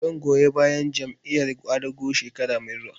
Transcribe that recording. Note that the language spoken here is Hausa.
Zan goyi bayan Jam'iyar ƙwadago shekara mai zuwa